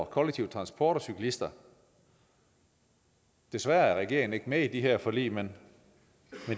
kollektive transport og cyklister desværre er regeringen ikke med i de her forlig men